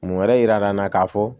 Mun wɛrɛ yira n na k'a fɔ